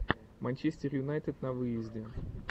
манчестер юнайтед на выезде